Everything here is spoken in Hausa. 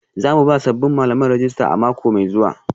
Za mu ba sabbin malaman rajista a mako mai zuwa